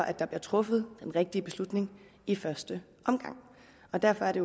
at der bliver truffet den rigtige beslutning i første omgang derfor er det